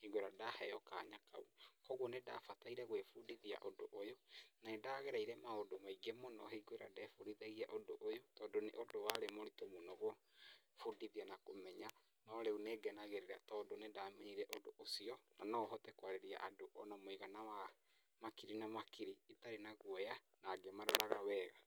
hingo ĩrĩa ndaheo kanya kau. Kuũguo nĩ ndabataire gwĩbundithia ũndũ ũyũ, na nĩ ndagereire maũndũ maingĩ mũno hingo ĩrĩa ndebundithagia ũndũ ũyũ tondũ nĩ ũndũ warĩ mũritũ mũno gwĩbundithia na kũmenya. No rĩu nĩ ngenagĩrĩra tondũ nĩ ndamenyire ũndũ ũcio, na nohote kwarĩria andũ ona mũigana wa makiri na makiri itarĩ na guoya na ngĩmaroraga wega.